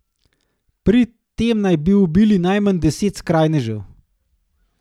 Pri tem naj bi ubili najmanj deset skrajnežev.